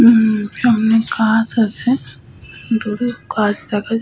হুম সামনে কাঁচ আছে। দূরে কাঁচ দেখা যাহ --